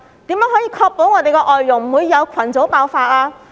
如何確保外傭不會有群組爆發？